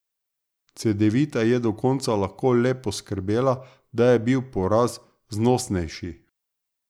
Cedevita je do konca lahko le poskrbela, da je bil poraz znosnejši.